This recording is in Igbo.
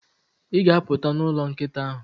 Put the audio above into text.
ị ga-apụt n'ụlọ nkịta ahụ.